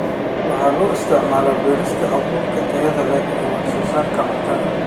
Waxa loo isticmaalaa beerista abuurka tayada leh ee wax soo saarka cuntada.